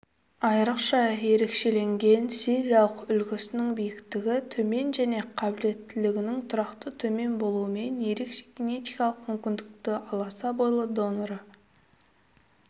айрықша ерекшеленген сириялық үлгісінің биіктігі төмен және қабілеттілігінің тұрақты төмен болуымен ерекше генетикалық мүмкіншілікті аласа бойлылық доноры